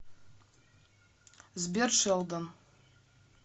сбер шелдон